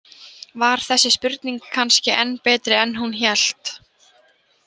Var þessi spurning kannski enn betri en hún hélt?